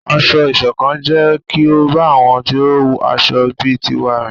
Ásọ̀-ìsokán jẹ kí o bá àwọn tí aṣọ̀ bí tiwá rìn